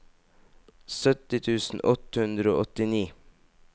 sytti tusen åtte hundre og åttini